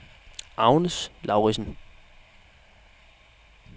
Agnes Lauridsen